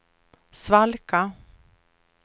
svalka